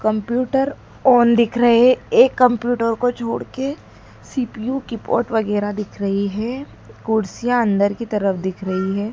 Computer on दिख रहे एक कम्प्यूटर को छोड़ के सी_पी_यू कीबोर्ड वगैरा दिख रही है कुर्सियां अन्दर की तरफ दिख रही है।